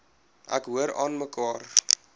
ek hoor aanmekaar